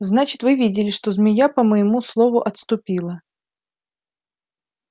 значит вы видели что змея по моему слову отступила